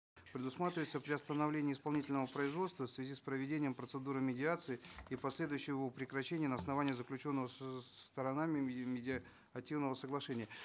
предусматривается приостановление исполнительного производства в связи с проведением процедуры медиации и последующее его прекращение на основании заключенного сторонами медиативного соглашения